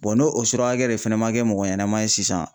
n'o surakakɛ de fɛnɛ man kɛ mɔgɔ ɲɛnama ye sisan